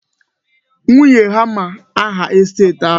Nwunye ya ma aha estet ha.